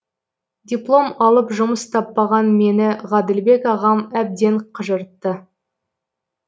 диплом алып жұмыс таппаған мені ғаділбек ағам әбден қыжыртты